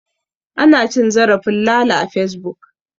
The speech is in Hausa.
An ci zarafin Lala a Fesbuk.